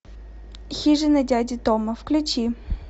хижина дяди тома включи